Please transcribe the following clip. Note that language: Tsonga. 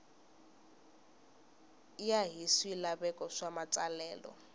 ya hi swilaveko swa matsalelo